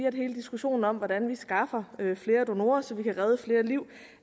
at hele diskussionen om hvordan vi skaffer flere donorer så vi kan redde flere liv